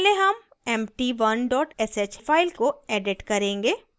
पहले हम empty1 dot sh file को edit करेंगे